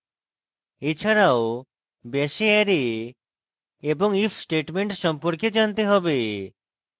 এছাড়াও bash এ array এবং if statement সম্পর্কে জানতে have